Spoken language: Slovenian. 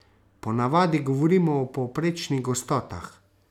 Po navadi govorimo o povprečnih gostotah.